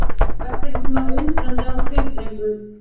Vertu ekki svona undrandi á svip, drengur!